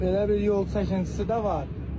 Belə bir yol çəkintisi də var.